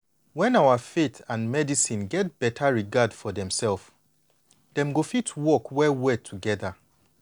when our faith and medicine get beta regard for demself dem go fit work well well together.